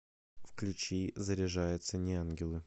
включи заряжается неангелы